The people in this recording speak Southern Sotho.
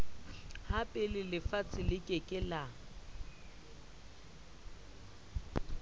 hapelefatshe le ke ke la